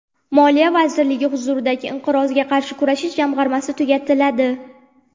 Moliya vazirligi huzuridagi Inqirozga qarshi kurashish jamg‘armasi tugatiladi.